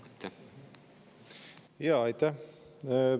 Aitäh!